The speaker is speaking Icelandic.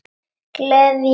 Gleðja hvern?